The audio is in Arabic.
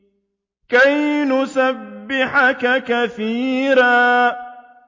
كَيْ نُسَبِّحَكَ كَثِيرًا